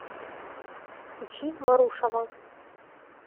включи марушова